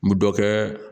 N bi dɔ kɛ